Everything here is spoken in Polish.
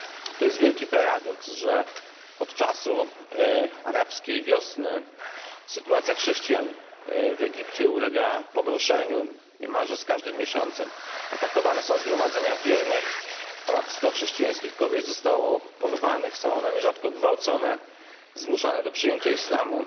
To wielki paradoks, że od czasu arabskiej wiosny sytuacja chrześcijan w Egipcie ulega pogorszeniu niemalże z każdym miesiącem. Atakowane są zgromadzenia wiernych, ponad 100 chrześcijańskich kobiet zostało porwanych, są one nierzadko gwałcone, zmuszane do przyjęcia islamu.